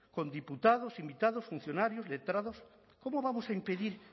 con diputados invitados funcionarios letrados cómo vamos a impedir